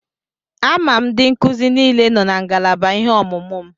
Ama m ndị nkuzi niile nọ na ngalaba ihe ọmụmụ m.